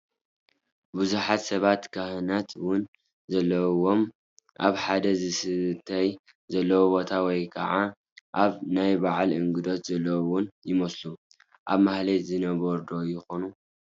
ብዙሓት ሰባት ካህናት ውን ዘለውዎም ኣብ ሓደ ዝስተይ ዘለዎ ቦታ ወይ ከዓ ኣብ ናይ በዓል እንግዶት ዘለው ውን ይመስሉ፡፡ ኣብ ማህሌት ዝነበሩ ዶ ይኾኑ?